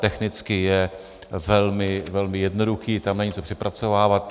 Technicky je velmi jednoduchý, tam není co přepracovávat.